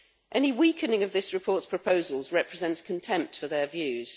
Any weakening of this report's proposals represents contempt for their views.